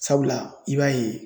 Sabula i b'a ye